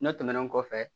N'o tɛmɛna kɔfɛ